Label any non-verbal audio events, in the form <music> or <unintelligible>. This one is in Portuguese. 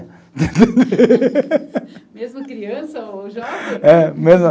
<laughs> Mesmo criança ou jovem? É <unintelligible>